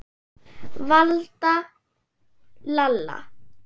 Valda, Lalla.